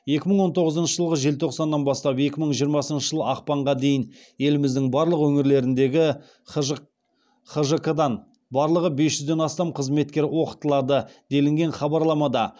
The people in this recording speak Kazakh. екі мың он тоғызыншы жылғы желтоқсаннан бастап екі мың жиырмасыншы жыл ақпанға дейін еліміздің барлық өңірлеріндегі хжқ дан барлығы бес жүзден астам қызметкер оқытылады делінген хабарламада